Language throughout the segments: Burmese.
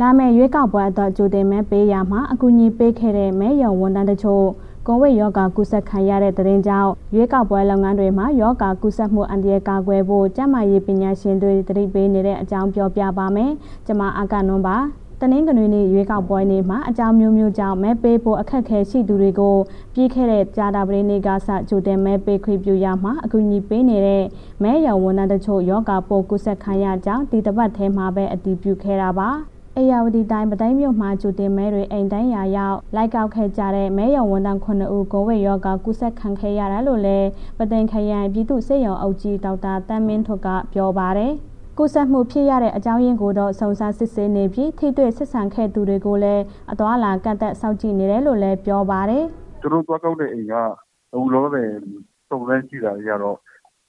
လာမယ့်ရွေးကောက်ပွဲအတွက် ကြိုတင်မဲပေးရာမှာ အကူအညီပေးခဲ့တဲ့ မဲရုံဝန်ထမ်းတချို့ ကိုဗစ်ရောဂါကူးစက်ခံရတဲ့ သတင်းကြောင့် ရွေးကောက်ပွဲ လုပ်ငန်းတွေမှာ ရောဂါကူးစက်မှုအန္တရာယ်ကာကွယ်ဖို့ ကျန်းမာရေး ပညာရှင်တွေ သတိပေးနေတဲ့အကြောင်း ပြောပြပါမယ်။ ဗွီအိုအေမြန်မာပိုင်း သတင်းထောက် မအဂ္ဂနွန်က သတင်းပေးပို့ထားပါတယ်။ တနင်္ဂနွေနေ့ ရွေးကောက်ပွဲနေ့မှာ အကြောင်းအမျိုးမျိုးကြောင့် မဲပေးဖို့ အခက်အခဲရှိသူတွေကို ပြီးခဲ့တဲ့ ကြာသပတေးနေ့ကစ ကြိုတင်မဲပေးခွင့် ပြုရာမှာ အကူအညီပေးနေတဲ့ မဲရုံဝန်ထမ်း တချို့ ရောဂါပိုးကူးစက်ခံရကြောင်း ဒီတပတ်ထဲမှာပဲ အတည်ပြုခဲ့တာပါ။ ဧရာဝတီတိုင်း၊ ပုသိမ်မြို့မှာ ကြိုတင်မဲတွေ အိမ်တိုင်ယာရောက် လိုက်ကောက်ခဲ့ကြတဲ့ မဲရုံဝန်ထမ်း ၇ ဦး ကိုဗစ်ရောဂါ ကူးစက်ခံခဲ့ရတာလို့လည်း ပုသိမ်ခရိုင် ပြည်သူ့ဆေးရုံအုပ်ကြီး ဒေါက်တာ သန်းမင်းထွဋ်က ပြောပါတယ်။ ကူးစက်မှုဖြစ်ရတဲ့ အကြောင်းရင်းကိုတော့ စုံစမ်းစစ်ဆေးနေပြီး ထိတွေ့ဆက်ဆံခဲ့သူတွေကိုလည်း အသွားအလာ ကန့်သတ်စောင့်ကြည့် နေတယ်လို့လည်း ပြောပါတယ်။ “သူတို့ သွားတဲ့ကောက်တဲ့ အိမ်က အခုလောလောဆယ် စုံစမ်းကြည့်တာတွေကတော့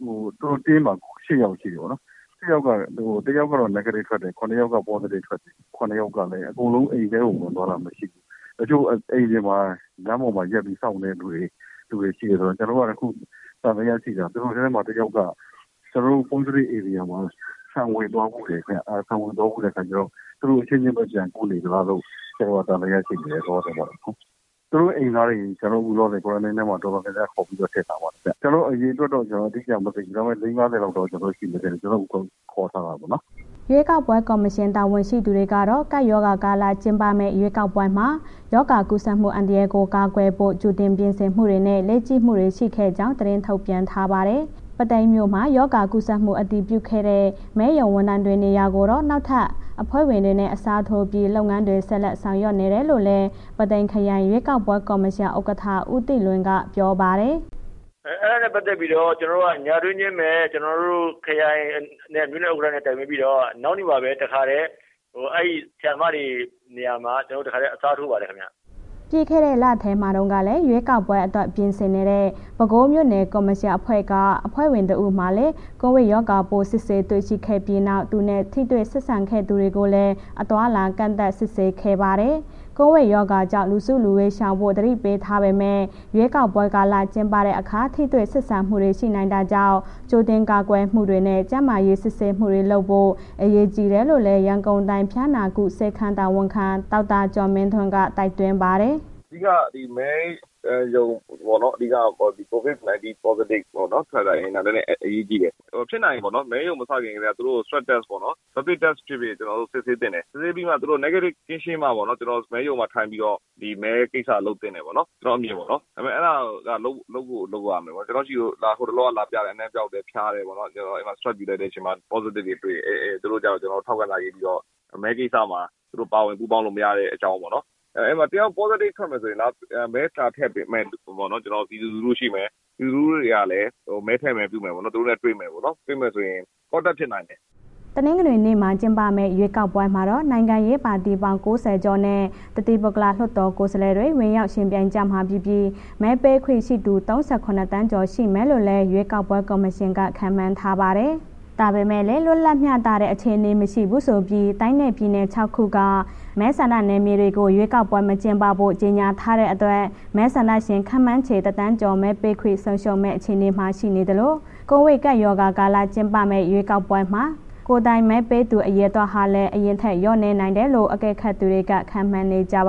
သူတို့ အဖွဲ့မှာ ၈ ယောက်ရှိတယ်ပေါ့နော်၊ ၈ ယောက်က တစ်ယောက်ကတော့ Negative ထွက်တယ်၊ ၇ ယောက်က positive ထွက်တယ်၊ ၇ ယောက်ကလည်း အကုန်လုံး အိမ်ထဲကို ဝင်သွားတာမရှိဘူး၊ တချို့ အိမ်ပြင်မှာ လမ်းပေါ်မှာ ရပ်ပြီး စောင့်တဲ့ လူတွေရှိတယ်ဆိုတော့ ကျနော်တို့ အခု သံသယရှိတာ သူတို့ထဲမှာ တစ်ယောက်က ကျနော်တို့ positive ဧရိယာမှာ ခြံဝင်သွားဖူးတယ်။ ဝင်သွားဖူးတဲ့အခါကျတော့ သူတို့အချင်းချင်းပဲ ပြန်ကူးနေသလားလို့ သံသယရှိနေတယ်။ သူတို့ အိမ်သားတွေ ကျနော်တို့ ခုလောလောဆယ် Quarantine ထဲမှာ တော်တော်များများခေါ်ပြီးတော့ ထည့်ထားပါတယ်ဗျ၊ ကျနော် အရေအတွက်တော့ ကျနော် အတိအကျမသိဘူး။ ဒါပေမဲ့ ၄၀၊ ၅၀ လောက်တော့ရှိတယ် ခေါ်ထားတယ်ပေါ့။” ရွေးကောက်ပွဲကော်မရှင် တာဝန်ရှိသူတွေကတော့ ကပ်ရောဂါကာလ ကျင်းပမယ့် ရွေးကောက်ပွဲမှာ ရောဂါကူးစက်မှု အန္တရာယ်ကို ကာကွယ်ဖို့ ကြိုတင်ပြင်ဆင်မှုတွေနဲ့ လေ့ကျင့်မှုတွေ ရှိခဲ့ကြောင်း သတင်းထုတ်ပြန်ထားပါတယ်။ ပုသိမ်မြို့မှာ ရောဂါကူးစက်မှု အတည်ပြုခဲ့တဲ့ မဲရုံဝန်ထမ်းတွေ နေရာကိုတော့ နောက်ထပ် အဖွဲ့ဝင်တွေနဲ့ အစားထိုးပြီး လုပ်ငန်းတွေ ဆက်လက်ဆောင်ရွက်နေတယ်လို့လည်း ပုသိမ်ခရိုင် ရွေးကောက်ပွဲ ကော်မရှင် ဥက္ကဋ္ဌ ဦးတင့်လွင် က ပြောပါတယ်။ “အဲ့ဒါနဲ့ ပတ်သက်ပြီးတော့ ညတွင်းချင်းပဲ ကျနော်တို့ ခရိုင်နဲ့ မြို့နယ်ဥက္ကဋ္ဌနဲ့ တိုင်ပင်ပြီးတော့ နောက်နေ့မှာပဲ တစ်ခါထဲ အဲ့ဆရာမတွေနေရာမှာ ကျနော် တစ်ခါထဲ အစားထိုးပါတယ်ခင်ဗျ။” ပြီးခဲ့တဲ့လထဲမှာတုန်းကလည်း ရွေးကောက်ပွဲအတွက် ပြင်ဆင်နေတဲ့ ပဲခူးမြို့နယ်ကော်မရှင်အဖွဲ့ခွဲက အဖွဲ့ဝင် ၁ ယောက်မှာလည်း ကိုဗစ်ရောဂါပိုး စစ်ဆေးတွေ့ရှိခဲ့ပြီးနောက် သူနဲ့ ထိတွေ့ဆက်ဆံခဲ့သူတွေကိုလည်း အသွားအလာ ကန့်သတ် စစ်ဆေးခဲ့ပါတယ်။ ကပ်ရောဂါကြောင့် လူစုလူဝေးရှောင်ဖို့ သတိပေးထားပေမဲ့ ရွေးကောက်ပွဲကာလ ကျင်းပတဲ့အခါ ထိတွေ့ဆက်ဆံမှုတွေ ရှိနိုင်တာကြောင့် ကြိုတင်ကာကွယ်မှုတွေနဲ့ ကျန်းမာရေးစစ်ဆေးမှုတွေလုပ်ဖို့ အရေးကြီးတယ်လို့လည်း ရန်ကုန်တိုင်း ဖျားနာကု ဆေးခန်းတာဝန်ခံ ဒေါက်တာကျော်မင်းထွန်းက တိုက်တွန်းပါတယ်။ “အဓိက ဒီမဲရုံပေါ့နော်... အဓိက COVID-19 positive ပေါ့နော်။ ထွက်ထားရင် အရေးကြီးတယ်။ ဖြစ်နိုင်ရင်ပေါ့နော်... မဲရုံမစခင်ကတည်းက သူတို့ Swab Test ပေါ့နော်။ Rapid Test ဖြစ်ဖြစ် ကျနော်တို့ စစ်ဆေးသင့်တယ်။ စစ်ဆေးပြီးမှ သူတို့ Negative ကင်းရှင်းမှပေါ့နော် မဲရုံမှာထိုင်ပြီးတော့ ဒီမဲကိစ္စလုပ်သင့်တယ်ပေါ့နော်.. ကျနော်အမြင်ပေ့ါနော်၊ ဒါပေမဲ့ အဲ့ဒါက လုပ်ကိုလုပ်ရမယ်ပေါ့နော်၊ ကျနော့်ဆီကို ဟိုတလောက လာပြတယ်... အနံ့ပျောက်တယ်၊ ဖျားတယ်ပေါ့နော်။ အဲ့ဒီမှာ Swab ယူလိုက်တဲ့အချိန်မှာ positive တွေ့တယ်၊ သူတို့ကျ ကျနော်ထောက်ခံစာရေးပြီးတော့ မဲကိစ္စမှာ သူတို့ ပါဝင်ပူးပေါင်းလို့ မရတဲ့ အကြောင်းပေါ့နော်။ အဲ့မှာ တစ်ယောက် positive ထွက်မယ်ဆိုရင် မဲလာထည့်တဲ့ လူ၊ ပြည်သူလူထုရှိမယ်၊ ပြည်သူလူထုတွေကလည်း မဲထည့်မယ် ပြုမယ်ဆိုရင် သူတို့နဲ့ တွေ့မယ်ပေါ့နော်၊ တွေ့မယ်ဆိုရင် contact ဖြစ်နိုင်တယ်။” တနင်္ဂနွေနေ့မှာ ကျင်းပမယ့် ရွေးကောက်ပွဲမှာတော့ နိုင်ငံရေးပါတီပေါင်း ၉၀ ကျော်နဲ့ တသီးပုဂ္ဂလ လွှတ်တော်ကိုယ်စားလှယ်တွေ ဝင်ရောက်ယှဉ်ပြိုင်ကြမှာဖြစ်ပြီး မဲပေးခွင့်ရှိသူ ၃၇ သန်းကျော် ရှိမယ်လို့လည်း ရွေးကောက်ပွဲ ကော်မရှင်က ခန့်မှန်းထားပါတယ်။ ဒါပေမဲ့လည်း လွတ်လပ်မျှတတဲ့ အခြေအနေ မရှိဘူးဆိုပြီး တိုင်းနဲ့ ပြည်နယ် ၆ ခုက မဲဆန္ဒနယ်မြေတွေကို ရွေးကောက်ပွဲ မကျင်းပဖို့ ကြေညာထားတဲ့အတွက် မဲဆန္ဒရှင် ခန့်မှန်းခြေ ၁,၀၀၀,၀၀၀ ကျော် မဲပေးခွင့်ဆုံးရှုံးမယ့် အခြေအနေမှာ ရှိနေသလို ကိုဗစ်ကပ်ရောဂါကာလ ကျင်းပမယ့် ရွေးကောက်ပွဲမှာ ကိုယ်တိုင်မဲပေးသူ အရေအတွက်ဟာလည်း အရင်ထက်လျော့နည်းနိုင်တယ်လို့ အကဲခတ်တွေက ခန့်မှန်းနေကြပ